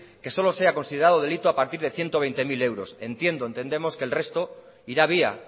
que solo sea considerado delito a partido de ciento veinte mil euros entiendo entendemos que el resto irá vía